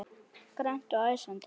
Grannt og æsandi.